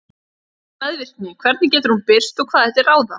Hvað er meðvirkni, hvernig getur hún birst og hvað er til ráða?